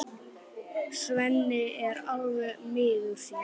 Svenni er alveg miður sín.